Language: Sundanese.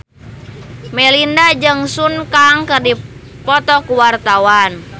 Melinda jeung Sun Kang keur dipoto ku wartawan